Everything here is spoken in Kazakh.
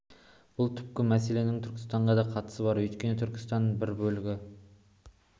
бұл түпкі мәселенің түркістанға да қатысы бар өйткені түркістан бір бөлігі